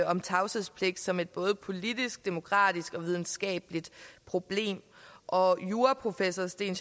om tavshedspligt som et både politisk demokratisk og videnskabeligt problem og juraprofessor sten